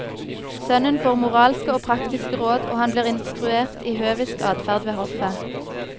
Sønnen får moralske og praktiske råd, og han blir instruert i høvisk adferd ved hoffet.